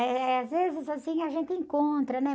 Eh, às vezes, assim, a gente encontra, né?